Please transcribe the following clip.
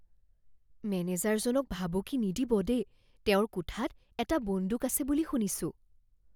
মেনেজাৰজনক ভাবুকি নিদিব দেই। তেওঁৰ কোঠাত এটা বন্দুক আছে বুলি শুনিছোঁ।